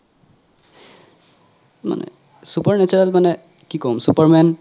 মানে super natural মানে কি ক'ম super man